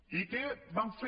i que van fer